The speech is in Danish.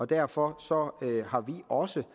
derfor har vi også